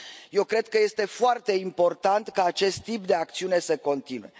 Eu cred că este foarte important ca acest tip de acțiune să continue.